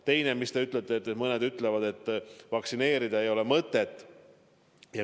Teiseks te viitasite, et mõned ütlevad, et vaktsineerida ei ole mõtet.